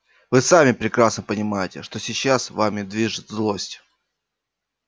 вы сами прекрасно понимаете что сейчас вами движет злость